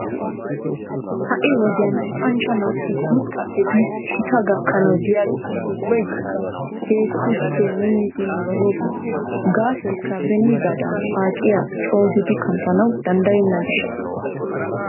Ha'i wodiyan luxanchcha naati guutaappe biidi gitaa gakkanaw de'iyageeti ubbagkka keehippe minnidi nabbaboosona gaasoykka beniigaadan paaciya coogodi kanttanaw danddayenna gishshaasa.